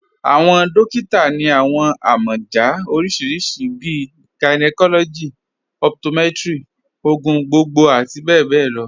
Awọn dòkìtà ni awọn amọja oríṣiríṣí bíi gynecology, optometry, ogun gbogbogbo ati bẹbẹ lọ.